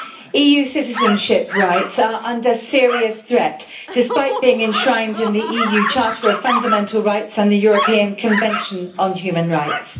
EU citizenship rights are under serious threat, despite being enshrined in the EU Charter of Fundamental Rights and the European Convention on Human Rights.